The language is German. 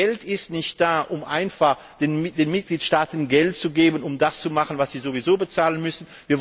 Das Geld ist nicht da, um einfach den Mitgliedstaaten Geld zu geben, um das zu machen, was sie sowieso bezahlen müssen.